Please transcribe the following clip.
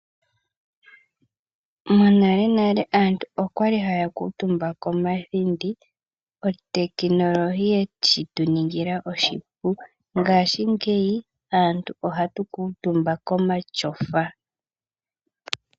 Monalenale aantu okwali haya kuutumba komathindi, otekinolohi yeshi tu ningila oshipu. Ngashingeyi aantu ohatu kuutumba komashofa.